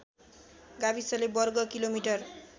गाविसले वर्ग किलोमिटर